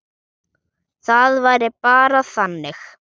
Það væri bara þannig.